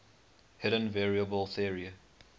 hidden variable theory